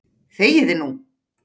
ÞEGIÐU NÚ!